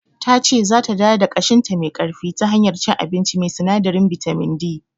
Tace zata dawo da kashinta me ƙarfi ta hanyar cin abinci mai sinadarin bitamin D.